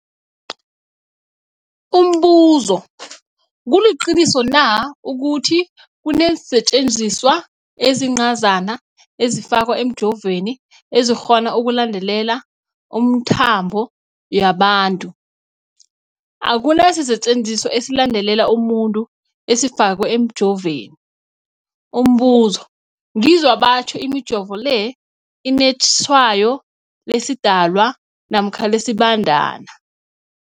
Umbuzo, kuliqiniso na ukuthi kunesisetjenziswa esincazana esifakwa emijovweni, esikghona ukulandelela imikhambo yabantu? Akuna sisetjenziswa esilandelela umuntu esifakwe emijoveni. Umbuzo, ngizwa batjho imijovo le inetshayo lesiDalwa namkha lesiBandana